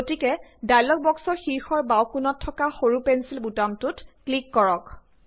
গতিকে ডায়লগ বক্সৰ শীৰ্ষৰ বাওঁ কোনত থকা সৰু পেঞ্চিল বুতামটোত ক্লিক কৰক